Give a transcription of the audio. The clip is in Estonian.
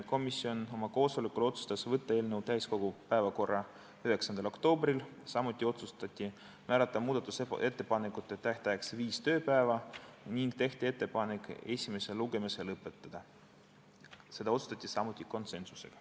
Komisjon oma koosolekul otsustas saata eelnõu täiskogu päevakorda 9. oktoobriks, samuti otsustati määrata muudatusettepanekute esitamise tähtajaks viis tööpäeva ning tehti ettepanek esimene lugemine lõpetada, seda otsustati konsensuslikult.